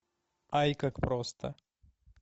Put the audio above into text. ай как просто